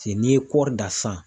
Se n'i ye kɔri dan sisan